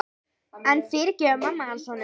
En fyrirgefur mamma hans honum?